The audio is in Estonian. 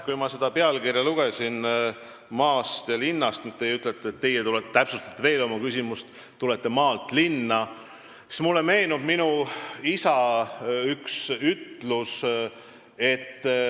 Kui ma selle küsimuse pealkirja lugesin – "Maa ja linn", mida teie nüüd täpsustasite, et tulete maalt linna –, siis meenus mulle üks minu isa ütlus.